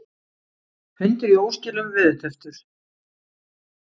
Hundur í óskilum veðurtepptur